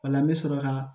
O la n bɛ sɔrɔ ka